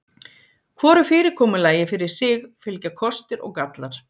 Hvoru fyrirkomulagi fyrir sig fylgja kostir og gallar.